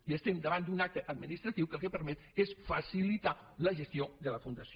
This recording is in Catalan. i estem davant d’un acte administratiu que el que permet és facilitar la gestió de la fundació